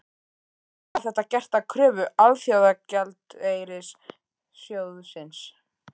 En var þetta gert að kröfu Alþjóðagjaldeyrissjóðsins?